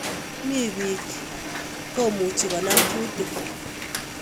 Mi biik komuchi konaam kuutik